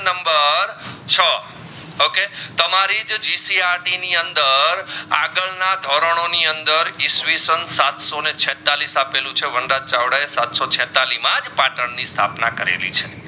તમારીજ GCRT ની અંદર આગડ ના ધોરોણો ની અંદર ઈસવીસન સાતસો છેતાળીસ અપલું છે વંદાત ચાવડા એ સાતસો છેતાળીસ મજ પાટણ ની સ્થાપના કરાળી છે